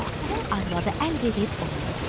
Yoxsulun arvadı əl verib onunla görüşdü.